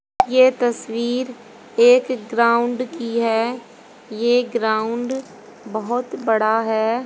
ये तस्वीर एक ग्राउंड की है ये ग्राउंड बहोत बड़ा है।